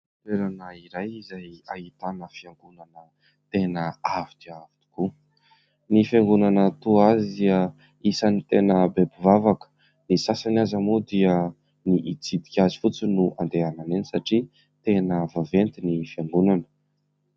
Toerana iray izay ahitana fiangonana tena avo dia avo tokoa, ny fiangonana toa azy dia isany tena be mpivavaka, ny sasany aza moa dia ny itsidika azy fotsiny no andehanany eny satria tena vaventy ny fiangonana.